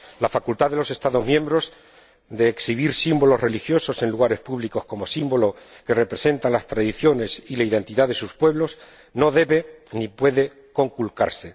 La facultad de los Estados miembros de exhibir símbolos religiosos en lugares públicos como símbolo que representan las tradiciones y la identidad de sus pueblos no debe ni puede conculcarse.